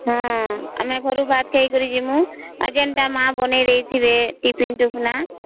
ହଁ ଆମେ ଘରୁ ଭାତ ଖାଇ କରି ଯିବୁ ଆଉ ଯେମିତି ମା ବନେଇଦେଇଥିବେ ଟୀଫିନ ତୀଫୁନା